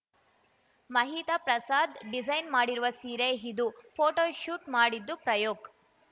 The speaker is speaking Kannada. ಮಹಿತಾ ಪ್ರಸಾದ್‌ ಡಿಸೈನ್‌ ಮಾಡಿರುವ ಸೀರೆ ಇದು ಫೋಟೋಶೂಟ್‌ ಮಾಡಿದ್ದು ಪ್ರಯೋಕ್‌